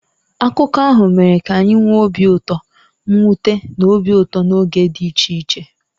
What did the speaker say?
Akụkọ ahụ mere ka anyị nwee obi ụtọ, mwute, na obi ụtọ n'oge dị iche iche.